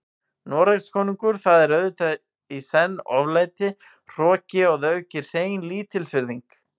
Noregskonungur, það er auðvitað í senn oflæti, hroki og að auki hrein lítilsvirðing.